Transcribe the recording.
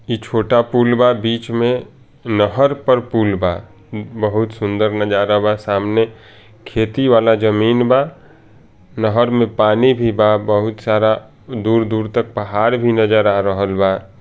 ई छोटा पुल बा बीच में नहर पर पुल बा बहुत सुन्दर नजारा बा सामने खेती वाला जमीन बा नहर में पानी भी बा बहुत सारा दूर-दूर तक पहाड़ भी नजर आ रहल बा।